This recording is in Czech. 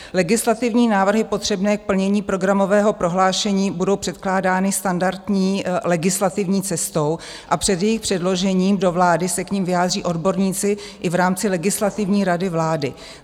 "Legislativní návrhy potřebné k plnění programového prohlášení budou předkládány standardní legislativní cestou a před jejich předložením do vlády se k nim vyjádří odborníci i v rámci Legislativní rady vlády."